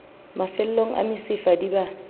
mafellong a mesifa di ba